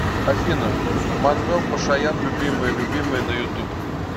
афина манвел пашаян любимая любимая на ютуб